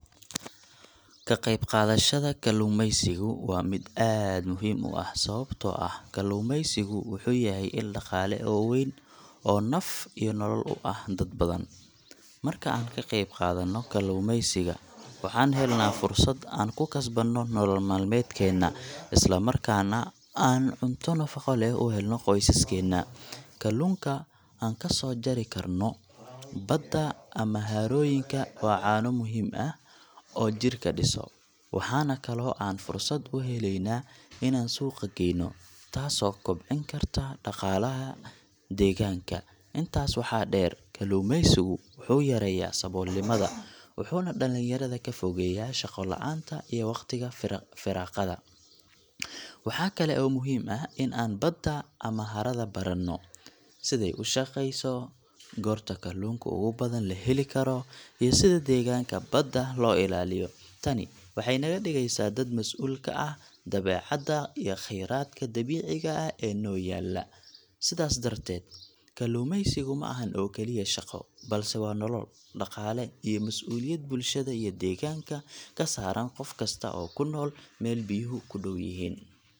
Ka qeyb qaadashada kalluumaysigu waa mid aad muhiim u ah sababtoo ah kalluumaysigu wuxuu yahay il dhaqaale oo weyn oo naf iyo nolol u ah dad badan. Marka aan ka qeyb qaadanno kalluumaysiga, waxaan helnaa fursad aan ku kasbanno nolol maalmeedkeena, isla markaana aan cunto nafaqo leh u helno qoysaskeena. Kalluunka aan ka soo jari karno badda ama harooyinka waa cunno muhiim ah oo jirka dhiso, waxaana kaloo aan fursad u helaynaa inaan suuqa geeyno, taasoo kobcin karta dhaqaalaha deegaanka. Intaas waxaa dheer, kalluumaysigu wuxuu yareeyaa saboolnimada wuxuuna dhalinyarada ka fogeeyaa shaqo la’aanta iyo waqtiga firaaqada. Waxaa kale oo muhiim ah in aan badda ama harada baranno — sidey u shaqeyso, goorta kalluunka ugu badan la heli karo, iyo sida deegaanka badda loo ilaaliyo. Tani waxay naga dhigeysaa dad mas’uul ka ah dabeecadda iyo kheyraadka dabiiciga ah ee inoo yaalla. Sidaas darteed, kalluumaysigu ma ahan oo kaliya shaqo, balse waa nolol, dhaqaale, iyo mas’uuliyad bulshada iyo deegaanka ka saaran qof kasta oo ku nool meel biyuhu ku dhow yihiin.